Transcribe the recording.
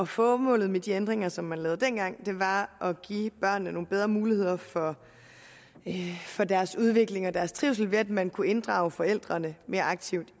formålet med de ændringer som man lavede dengang var at give børnene nogle bedre muligheder for for deres udvikling og deres trivsel ved at man kunne inddrage forældrene mere aktivt